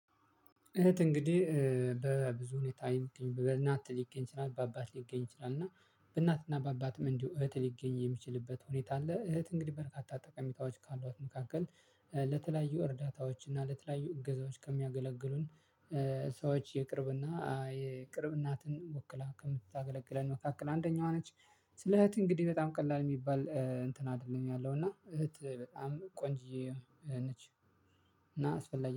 እህት እንግዲህ በብዙ ሁኔታ በእናት ሊገኝ ይችላል በአባት ሊገኝ ይችላል። እና በእናትና በአባትም እንዲሁ እህት ሊገኝ የሚችልበት ሁኔታ አለ። እህት እንግዲህ በርካታ ጠቀሜታዎች ካሏት መካከል ለተለያዩ እርዳታዎች እና ለተለያዩ እገዛዎች ከሚያገለግሉን ሰዎች የቅርብና የቅርብ እናትን ወክላ ከምትታገለግለን መካከል አንደኛዋ ነች። ስለ እህት እንግዲህ በጣም ቀላል የሚባል እንትን አይደለም ያለው እና ቆንጅየ ነች። እና አስፈላጊ